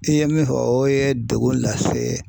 I ye min fɔ o ye degun lase